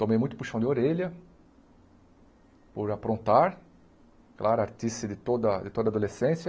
Tomei muito puxão de orelha por aprontar, claro, de toda de toda adolescência.